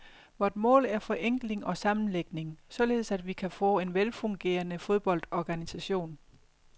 Vort mål er forenkling og sammenlægning, således at vi kan få en velfungerende fodboldorganisation.